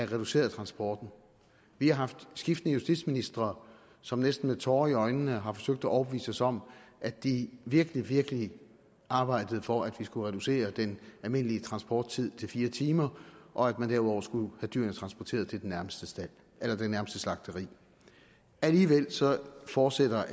reduceret transporten vi har haft skiftende justitsministre som næsten med tårer i øjnene har forsøgt at overbevise os om at de virkelig virkelig arbejdede for at vi skulle reducere den almindelige transporttid til fire timer og at man derudover skulle have dyrene transporteret til det nærmeste slagteri alligevel fortsætter